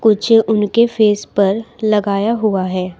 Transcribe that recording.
उनके फेस पर लगाया हुआ है।